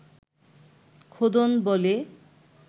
খোদন বলে